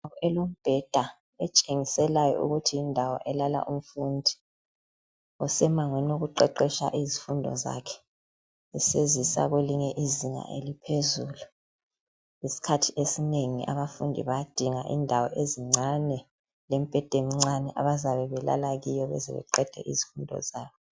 Imibheda etshengiselayo ukuthi yindawo elala umfundi osemangweni lokuqeqesha izifundo zakhe esezisa kwelinye izinga eliphezulu. Isikhathi esinengi abafundi bayadinga indawo ezincane lemibheda emncane abazabe belala kuyo baze baqede izifundo zabo.